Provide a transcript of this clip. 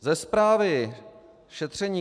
Ze zprávy šetření